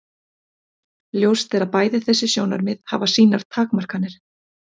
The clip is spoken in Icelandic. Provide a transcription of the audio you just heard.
Ljóst er að bæði þessi sjónarmið hafa sínar takmarkanir.